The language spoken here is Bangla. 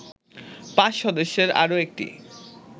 ৫ সদস্যের আরো একটি